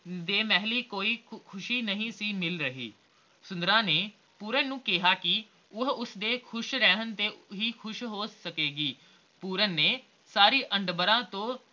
ਦੇ ਮਹਿਲੀਂ ਕੋਈ ਖੁਸ਼ੀ ਨਹੀਂ ਸੀ ਮਿਲ ਰਹੀ ਸੁੰਦਰਾਂ ਨੇ ਪੂਰਨ ਨੂੰ ਕਿਹਾ ਕੇ ਉਹ ਉਸਦੇ ਖੁਸ਼ ਰਹਿਣ ਤੇ ਹੀ ਖੁਸ਼ ਹੋ ਸਕੇਗੀ ਪੂਰਨ ਨੇ ਸਾਰੀ ਅੰਡਬਰਾ ਤੋਂ